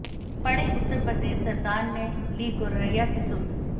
पढ़ेंः उत्तर प्रदेश सरकार ने ली गौरैय्या की सुध